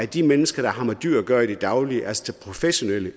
de mennesker der har med dyr at gøre i det daglige altså professionelle